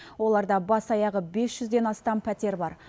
оларда бас аяғы бес жүзден астам пәтер бар